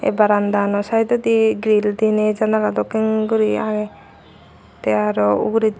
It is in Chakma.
barandano saedodi giril diney janala dokken guri agey tey arow uguredi.